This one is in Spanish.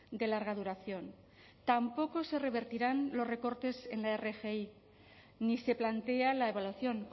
de larga duración tampoco se revertirán los recortes en la rgi ni se plantea la evaluación